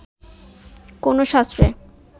কোনো শাস্ত্রে